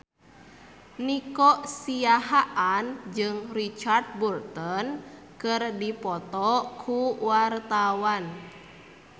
Nico Siahaan jeung Richard Burton keur dipoto ku wartawan